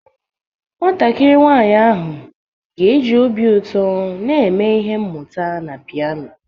Nwatakịrị nwanyị ahụ ga-eji obi ụtọ na eme ihe mmuta na pianoo.